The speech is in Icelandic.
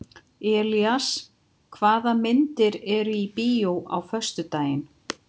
Elías, hvaða myndir eru í bíó á föstudaginn?